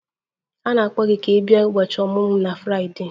A na-akpọ gị ka ị bịa ụbọchị ọmụmụ m na Fraịdee.